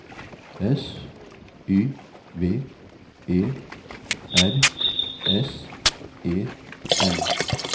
S Y V E R S E N